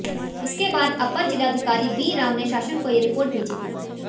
इसके बाद अपर जिलाधिकारी बी राम ने शासन को ये रिपोर्ट भेजी थी